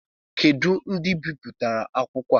Kedu ndị bipụtara akwụkwọ a?